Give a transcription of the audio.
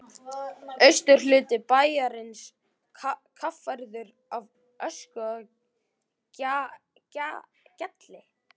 Austurhluti bæjarins kaffærður af ösku og gjalli.